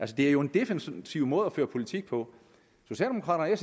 det er jo en defensiv måde at føre politik på socialdemokraterne